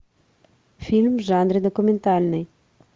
фильм в жанре документальный